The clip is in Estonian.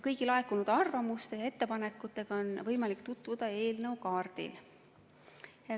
Kõigi laekunud arvamuste ja ettepanekutega on võimalik tutvuda eelnõu kaardil.